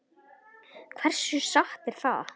Hversu satt er það?